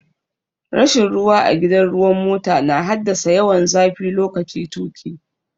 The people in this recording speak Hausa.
Rashin ruwa a gidan ruwan mota na haddasa yawan zafi lokaci tuƙi.